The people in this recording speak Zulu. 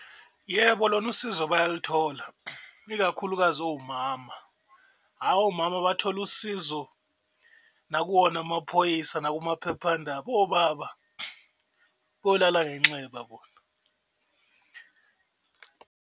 Yebo, lona usizo bayaluthola ikakhulukazi omama, hha omama bathola usizo nakuwona amaphoyisa, nakumaphephandaba, obaba bolala ngenxeba bona.